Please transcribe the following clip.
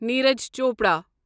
Neeraj Chopra